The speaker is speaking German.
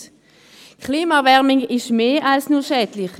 Die Klimaerwärmung ist mehr als nur schädlich: